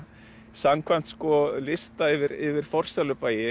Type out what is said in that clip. samkvæmt lista yfir yfir